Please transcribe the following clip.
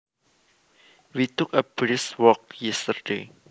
We took a brisk walk yesterday